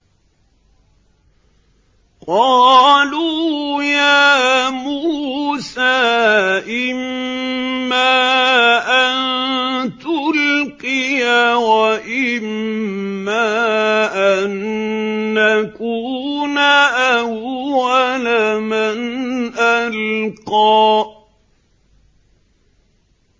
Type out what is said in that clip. قَالُوا يَا مُوسَىٰ إِمَّا أَن تُلْقِيَ وَإِمَّا أَن نَّكُونَ أَوَّلَ مَنْ أَلْقَىٰ